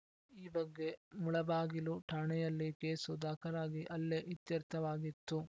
ಈ ಬಗ್ಗೆ ಮುಳಬಾಗಿಲು ಠಾಣೆಯಲ್ಲಿ ಕೇಸು ದಾಖಲಾಗಿ ಅಲ್ಲೇ ಇತ್ಯರ್ಥವಾಗಿತ್ತು